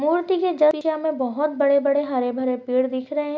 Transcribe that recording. मूर्ति के में बहोत बड़े-बड़े हरे-भरे पेड़ दिख रहे है।